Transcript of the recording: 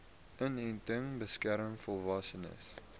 inenting beskerm volwassenes